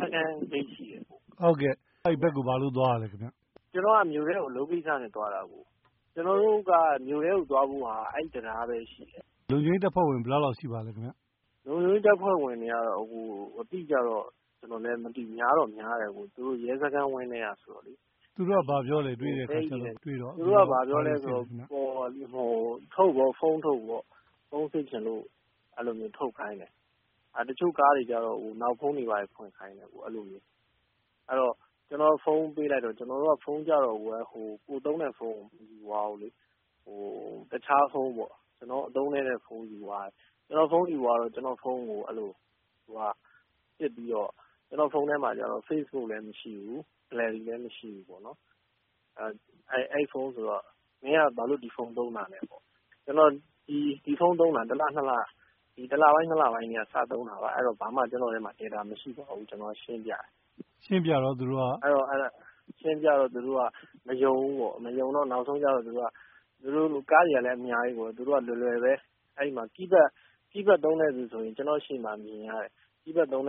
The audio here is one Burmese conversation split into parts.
စခန်းဂိတ်ရှိတယ်။ မေး။ ။ ဟုတ်ကဲ့အဲဒီဘက်ကို ဘာလို့ သွားတာလဲ။ ဖြေ။ ။ ကျနော်က မြို့ထဲကို အလုပ်ကိစ္စနဲ့ သွားတာ ၊ ကျနော်တို့က မြို့ထဲကိုသွားဖို့က အဲဒီတံတားပဲရှိတယ်။ မေး။ ။ လုံခြုံရေးတပ်ဖွဲ့ဝင် ဘယ်လောက်လောက်ရှိပါသလဲ။ ဖြေ။ ။ လုံခြုံရေးတပ်ဖွဲ့ဝင်တွေကတော့ အတိအကျတော့ ကျနော်လည်းမသိဘူး များတော့များတယ်အကိုရေ ၊ သူတို့က ရဲစခန်းဝန်းထဲကဆိုတော့။ မေး။ ။ သူတို့က ဘာပြောသလဲ တွေ့တော့။ ဖြေ။ ။ သူတို့က ဘာပြောသလဲ ဆိုတော့ ဖုန်းထုတ်ပေါ့ ၊ ဖုန်းစစ်ချင်လို့ အဲလိုမျိုးထုတ်ခိုင်းတယ်။ တချို့ကားတွေကတော့ နောက်ဖုံးတွေ ဖွင့်ခိုင်းတယ် အဲလိုမျိုး။ ကျနော်က ဖုန်းပေးလိုက်တော့ ဖုန်းကတော့ ကိုယ်သုံးတဲ့ ဖုန်းမယူသွားဘူးလေ၊ တခြားဖုန်းပေါ့ အသုံးနည်းတဲ့ဖုန်းယူသွားတယ်။ ကျနော့်ဖုန်းကို စစ်ပြီးတော့ ကျနော့်ဖုန်းမှာတော့ Facebook လည်းမရှိဘူး gallery လည်းမရှိဘူးပေါ့နော်။ အဲဒီဖုန်းဆိုတော့ မင်းက ဘာလို့ ဒီဖုန်းသုံးတာလဲပေါ့နော် ၊ ကျနော် ဒီဖုန်းသုံးတာ ၁ လပိုင်း ၂ လပိုင်းကတည်းက စသုံးတာပါ အဲဒီတော့ ကျနော့်ထဲမှာ ဘာမှ data မရှိပါဘူးဆိုတာ ရှင်းပြတယ်။ ရှင်းပြတော့ သူတို့က မယုံဘူးပေါ့၊ မယုံတော့ ကားတွေကလည်း အများကြီးပေါ့နော် နောက်ဆုံး သူတို့က လွယ်လွယ်ပဲ ၊ keypad သုံးတဲ့လူဆိုရင် ကျနော့်ရှေ့မှာ မြင်ရတယ်၊ မ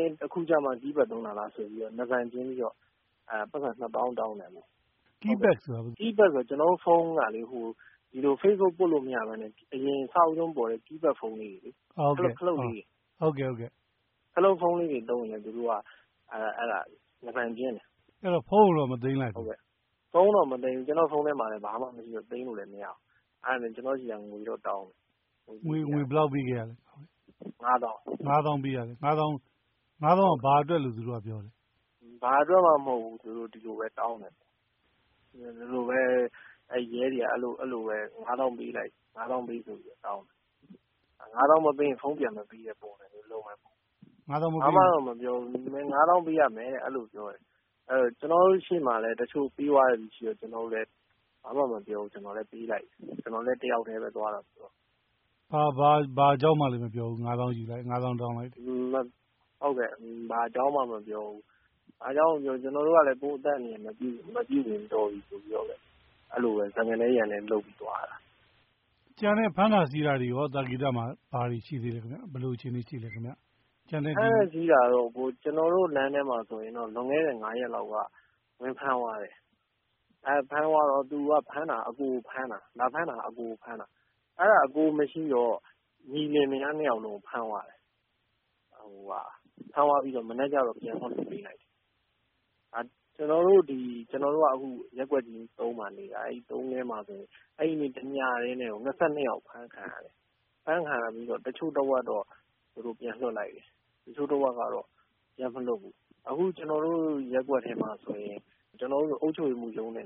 င်းအခုကျမှ keypad သုံးတာလားဆိုပြီး နားဘန်ကျင်းပြီးတော့ ပိုက်ဆံ ၂ သောင်း တောင်းတယ်ပေါ့နော်။ မေး။ ။ keypad ဆိုတာက ဖြေ။ ။ keypad ဆိုတာလေ ကျနော်တို့ဖုန်းက Facebook ပွတ်လို့မရပဲနဲ့ အရင် အစဦးဆုံး ပေါ်တဲ့ keypad ဖုန်းလေးတွေ ၊ အဲလိုခလုတ်လေးတွေ။ အဲဒီလိုဖုန်းသုံးရင် နားဘန်ကျင်းတယ်။ မေး။ ။ အဲဒီတော့ ဖုန်းမသိမ်းဘူးလား။ ဖြေ။ ။ ဖုန်းကိုတော့ မသိမ်းလိုက်ဘူး။ ဖုန်းထဲမှာလည်း ဘာမှ သိမ်းလို့မရဘူး။ အဲဒါနဲ့ ကျနော်ဆီက ငွေတော့တောင်းတယ်။ မေး။ ။ ငွေဘယ်လောက်ပေးခဲ့ရသလဲ။ ဖြေ။ ။ ၅ သောင်းခင်ဗျ။ မေး။ ။ ၅ သောင်းက ဘာအတွက်လို့ ပြောလဲ။ ဖြေ။ ။ဘာအတွက်မှမဟုတ်ဘူး သူတို့ ဒီလိုပဲ တောင်းတယ်။ အဲဒါနဲ့ ရဲတွေကို ၅ သောင်းပေးလိုက်တယ်။ ၅ သောင်းမပေးရင် ဖုန်းပြန်မပေးတဲ့ပုံစံမျိုးလုပ်တယ်။ ဘာမှတော့မပြောဘူး ၅ သောင်းပေးရမယ် အဲလိုပြောတယ်။ ကျနေ်ာတို့ရှေ့မှာလည်း တချို့ ပေးသွားတဲ့လူတွေရှိတော့ ဘာမှမပြောဘူး ကျနော်လည်း ပေးလိုက်တယ်။ ကျနော်လည်း တယောက်တည်းပဲ သွားတာဆိုတော့။ မေး။ ။ ဘာအကြောင်းမှလည်း မပြောဘူး ၅ သောင်းတောင်းတာပေါ့နော်။ ဖြေ။ ။ ဟုတ်ကဲ့ ဘာအကြောင်းမှ မပြောဘူး ကျနော်တို့ကလည်း စကားနဲ ရန်နဲလုပ်ပြီးတော့ သွားရတာ။ မေး။ ။ ကျန်တဲ့ ဖမ်းတာဆီးတာတွေရော သာကေတမှာ ဘာတွေရှိသေးသလဲ။ ဘယ်လိုအခြေအနေရှိသလဲခင်ဗျ။ ဖြေ။ ။ဖမ်းတာဆီးတာကတော့ ကျနော်တို့ လမ်းထဲမှာဆိုရင် လွန်ခဲ့တဲ့ ၅ ရက်လောက်က ဝင်ဖမ်းသွားတယ်။ လာဖမ်းသွားတော့ ဖမ်းတာက အကိုကိုဖမ်းတာ ၊ အဲဒါ အကိုမရှိတော့ ညီလင်မယား ၂ ယောက်လုံးကို ဖမ်းသွားတာ။ ဖမ်းသွားပြီးတော့ မနက်ကျတော့ ပြန်လွှတ်ပေးလိုက်တယ်။ ကျနော်တို့က ရပ်ကွက် ၃ မှာနေတာ အဲဒီ ရပ်ကွက် ၃ မှာဆိုရင် တညတည်းနဲ့ ၂၂ ယောက် အဖမ်းခံရတယ်။ အဖမ်းခံရပြီးတော့ တချို့တဝက်တော့ ပြန်လွှတ်လိုက်တယ်။ တချို့တဝက်တော့ ပြန်မလွှတ်ဘူး။ အခုကျတော်တို့ ရပ်ကွက်ထဲမှာဆိုရင် အုပ်ချုပ်ရေးမှူးရုံးနဲ့